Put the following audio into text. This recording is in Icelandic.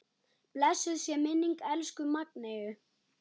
Blessuð sé minning elsku Magneu.